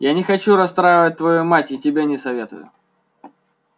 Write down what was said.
я не хочу расстраивать твою мать и тебе не советую